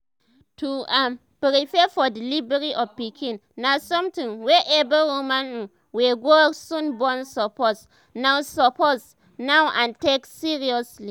to um prepare for delivery of pikin na something wey every woman um wey go soon born suppose um know suppose um know and take seriously